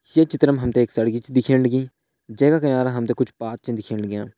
ये चित्र मा हम ते एक सड़की छ दिखेण लगीं जै का किनारा हम त कुछ पाथ छन दिखेण लग्यां।